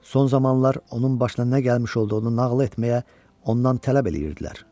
Son zamanlar onun başına nə gəlmiş olduğunu nağıl etməyə ondan tələb eləyirdilər.